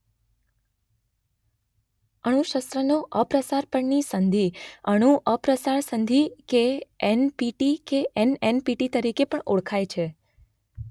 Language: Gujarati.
અણુશસ્રોના અપ્રસાર પરની સંધિ અણુ અપ્રસાર સંધિ કે એનપીટી કે એનએનપીટી તરીકે પણ ઓળખાય છે.